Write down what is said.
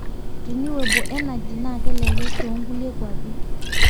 renewable energy naa kelelek too ngulie kuapi